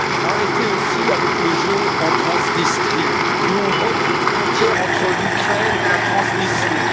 Arrêtez aussi le jeu en Transnistrie, où on remet une frontière entre l'Ukraine et la Transnistrie.